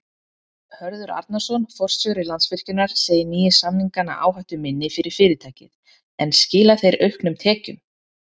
Hörður Arnarson, forstjóri Landsvirkjunar segir nýju samningana áhættuminni fyrir fyrirtækið en skila þeir auknum tekjum?